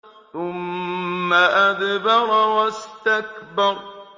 ثُمَّ أَدْبَرَ وَاسْتَكْبَرَ